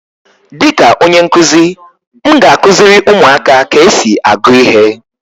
Dịka onye nkuzi, m ga-akụziri ụmụaka ka esi agụ ihe.